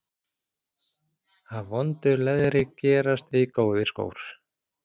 Af vondu leðri gerast ei góðir skór.